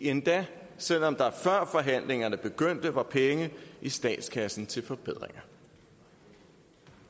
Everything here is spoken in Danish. endda selv om der før forhandlingerne begyndte var penge i statskassen til forbedringer